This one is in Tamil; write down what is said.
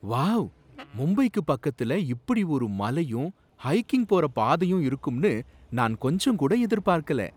வாவ்! மும்பைக்கு பக்கத்துல இப்படி ஒரு மலையும் ஹைக்கிங் போற பாதையும் இருக்கும்னு நான் கொஞ்சங்கூட எதிர்பார்க்கல.